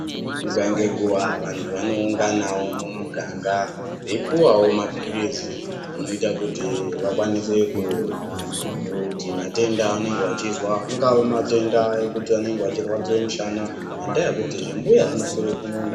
Nguwa ngenguwa vantu vanounganawo mumuganga veipuwawo mapirizi anoita kuti vakwanise kuti matenda avanenge vachizwa angave matenda ekuti vanenge vachirwadziwa mushana ngendaya yekuti zvimbuya zvinoswera kumunda